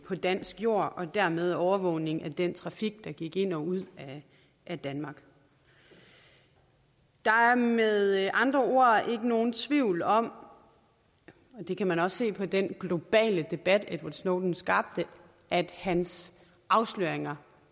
på dansk jord og dermed overvågning af den trafik der gik ind og ud af danmark der er med andre ord ikke nogen tvivl om og det kan man også se på den globale debat edward snowden skabte at hans afsløringer